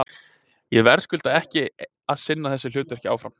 Ég verðskulda ekki að sinna þessu hlutverki áfram.